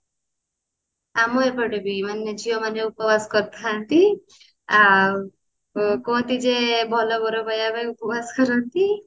ଆମ ଏପଟେ ବି ମାନେ ଝିଅ ମାନେ ଉପବାସ କରିଥାନ୍ତି ଆଉ ଊ କୁହନ୍ତି ଯେ ଭଲ ବର ପାଇବା ପାଇଁ ଉପବାସ କରନ୍ତି